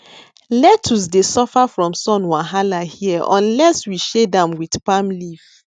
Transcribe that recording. lettuce dey suffer from sun wahala here unless we shade am with palm leaf